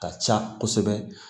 Ka ca kosɛbɛ